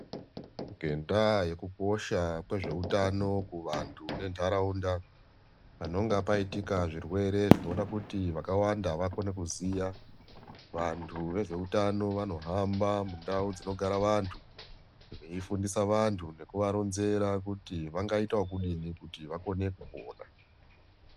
Ngendaa yekuposha kwezveutano kuvanthu nentharaunda panonga paitika zvirwere zvinoda kuti vakawanda vakone kuziya vanthu vezveutano vanohamba mundau dzinogara vanthu veifundisa vanthu nekuvaronzera kuti vangaitookudini kuti vakone kupora.